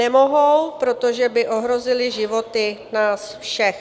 Nemohou, protože by ohrozily životy nás všech.